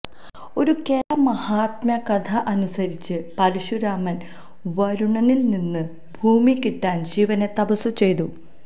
ഒരു കേരള മാഹാത്മ്യകഥയനുസരിച്ച് പരശുരാമന് വരുണനില്നിന്ന് ഭൂമികിട്ടാന് ശിവനെ തപസ്സു ചെയ്തു